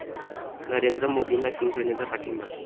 नरेंद्र मोदींना शिवसेनेचा पाठिंबा